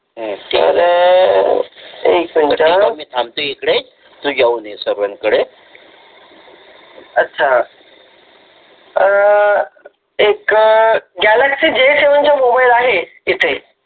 तर अं एक मिनिट मी थांबतो इकडे तू जाऊन ये साहेबांकडे अच्छा अं एक गॅलॅक्सय जी सेवन चा मोबाइल आहे इथे